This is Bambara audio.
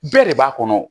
Bɛɛ de b'a kɔnɔ